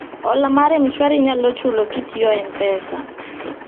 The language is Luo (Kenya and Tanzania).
hola mar mshwari inyalo chulo kitiyo mpesa